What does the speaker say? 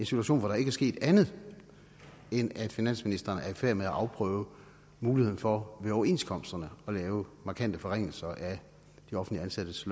situation hvor der ikke er sket andet end at finansministeren er i færd med at afprøve muligheden for ved overenskomsterne at lave markante forringelser af de offentligt ansattes